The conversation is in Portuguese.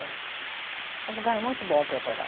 É um lugar muito bom para morar.